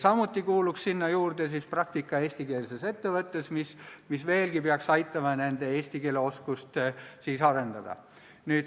Samuti kuuluks sinna juurde praktika eestikeelses ettevõttes, mis peaks aitama nende eesti keele oskust veelgi arendada.